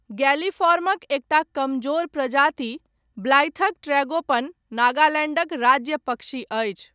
गैलीफॉर्मक एकटा कमजोर प्रजाति, ब्लाइथक ट्रैगोपन, नागालैण्डक राज्य पक्षी अछि।